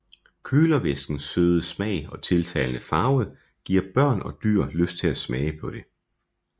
Kølervæskes søde smag og tiltalende farve giver børn og dyr lyst til at smage på det